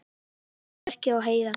Rafrænt merki á heiðagæs.